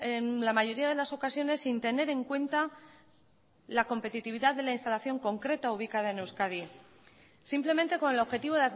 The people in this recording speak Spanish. en la mayoría de las ocasiones sin tener en cuenta la competitividad de la instalación concreta ubicada en euskadi simplemente con el objetivo